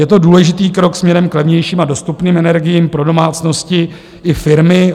Je to důležitý krok směrem k levnějším a dostupným energiím pro domácnosti i firmy.